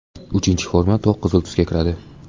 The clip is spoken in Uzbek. Uchinchi forma to‘q qizil tusga kiradi.